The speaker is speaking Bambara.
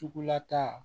Tukula ta